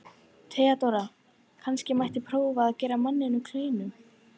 THEODÓRA: Kannski mætti prófa að gefa manninum kleinu?